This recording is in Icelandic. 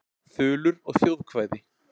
Þulur og þjóðkvæði.